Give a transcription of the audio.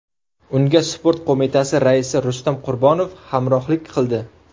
Unga Sport Qo‘mitasi raisi Rustam Qurbonov hamrohlik qildi.